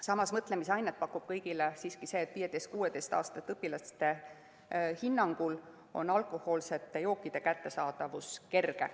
Samas, mõtlemisainet pakub kõigile siiski see, et 15–16‑aastaste õpilaste hinnangul on alkohoolseid jooke kerge kätte saada.